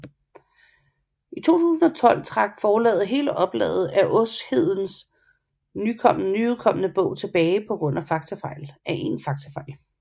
I september 2012 trak forlaget hele oplaget af Åshedens nyudkomne bog tilbage på grund af en faktafejl